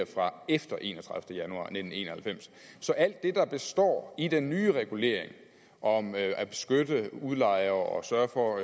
fra efter enogtredivete december nitten en og halvfems så alt det der står i den nye regulering om at at beskytte udlejere og sørge for